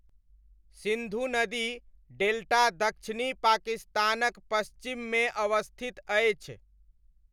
सिन्धु नदी डेल्टा दक्षिणी पाकिस्तानक पश्चिममे अवस्थित अछि।